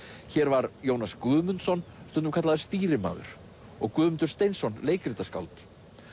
hér var Jónas Guðmundsson stundum kallaður stýrimaður og Guðmundur Steinsson leikritaskáld